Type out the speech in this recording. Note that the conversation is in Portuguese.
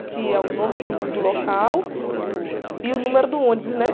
Aqui é o nome do, do local e o número do ônibus, né?